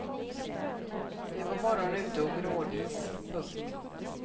Det var morgon ute och grådis. punkt